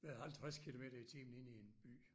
Med 50 kilometer i timen inde i en by